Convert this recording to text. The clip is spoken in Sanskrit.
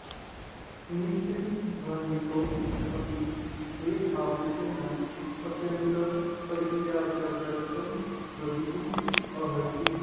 मृतिभयहेतोः अपि भेदभावनस्य न अत्यन्तं परित्याज्यत्वं भवितुं अर्हति